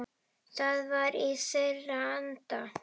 Það var í þeirra anda.